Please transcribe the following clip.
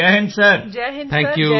ਸਾਰੇ NCC cadets Jai Hind sir